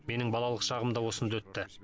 менің балалық шағым да осында өтті